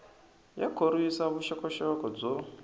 ya khorwisa vuxokoxoko byo